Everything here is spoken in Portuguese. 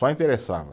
Só interessava.